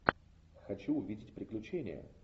хочу увидеть приключения